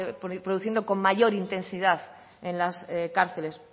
produciendo con mayor intensidad en las cárceles